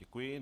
Děkuji.